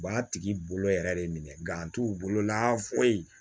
U b'a tigi bolo yɛrɛ de minɛ gan t'u bolo la foyi